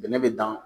Bɛnɛ bɛ dan